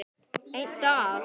Einn dag!